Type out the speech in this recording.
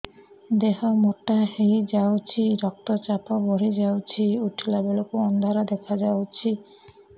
ଦେହ ମୋଟା ହେଇଯାଉଛି ରକ୍ତ ଚାପ ବଢ଼ି ଯାଉଛି ଉଠିଲା ବେଳକୁ ଅନ୍ଧାର ଦେଖା ଯାଉଛି